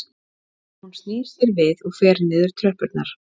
Hún snýr sér við og fer niður tröppurnar